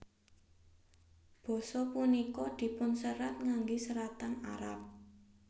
Basa punika dipunserat ngangge seratan Arab